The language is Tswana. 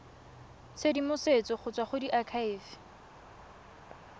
tshedimosetso go tswa go diakhaefe